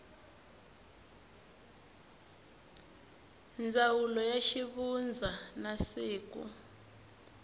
ndzawulo ya xivundza na siku